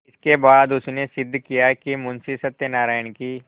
इसके बाद उसने सिद्ध किया कि मुंशी सत्यनारायण की